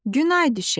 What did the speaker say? Günay düşə!